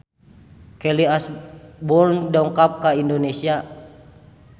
Kelly Osbourne dongkap ka Indonesia